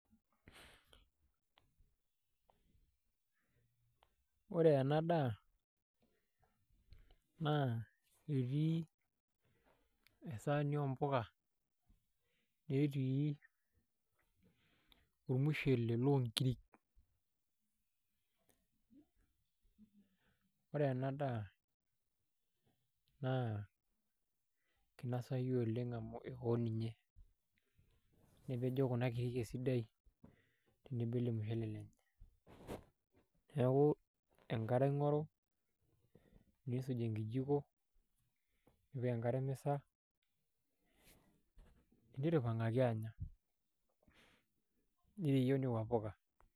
Ore ena daa naa etii esaani ompuka netii ormushele loonkiri, ore ena daa naa kinosayu oleng' amu iko ninye nepejo kuna kirik esidai tenebo o ele mushele lenye, neeku enkare aing'oru niisuj enkijiko nipik enkare emisa nigira aipang'aki aanya ningutunye nekua puka.